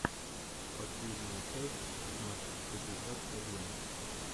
последняя часть знат пятьдесят один